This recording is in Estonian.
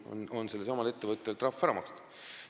Nii et sellelsamal ettevõttel on kasulikum trahv ära maksta.